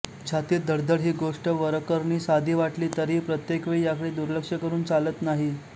छातीत धडधडण हि गोष्ट वरकरणी साधी वाटली तरीही प्रत्येक वेळी याकडे दुर्लक्ष करून चालत नाही